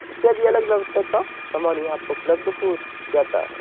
सामान यहाँ पे उपलब्ध हो जाता है।